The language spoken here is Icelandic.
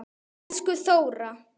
Elsku Þóra.